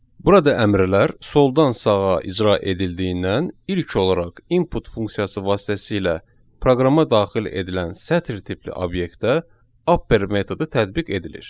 Burada əmrlər soldan sağa icra edildiyindən ilk olaraq input funksiyası vasitəsilə proqrama daxil edilən sətir tipli obyektə upper metodu tətbiq edilir.